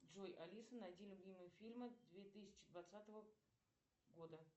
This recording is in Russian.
джой алиса найди любимые фильмы две тысячи двадцатого года